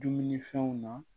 Dumunifɛnw na